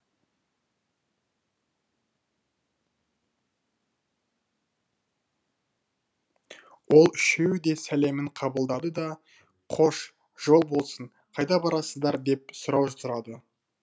ол үшеуі де сәлемін қабылдады да қош жол болсын қайда барасыздар деп сұрау сұрады